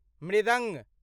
मृदङ्ग